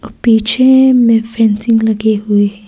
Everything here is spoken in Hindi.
पीछे में फेंसिंग लगे हुए है।